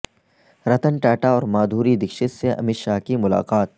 رتن ٹاٹا اور مادھوری دکشت سے امت شاہ کی ملاقات